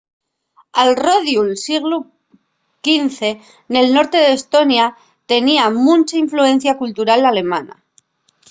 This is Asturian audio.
al rodiu'l sieglu xv el norte d'estonia tenía muncha influencia cultural alemana